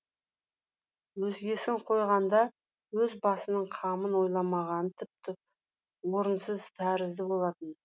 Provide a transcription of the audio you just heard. өзгесін қойғанда өз басының қамын ойламағаны тіпті орынсыз тәрізді болатын